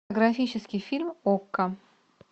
графический фильм окко